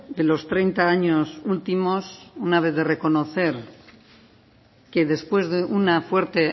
de los treinta años últimos una vez de reconocer que después de una fuerte